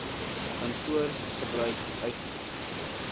kantoor gebruik eisnr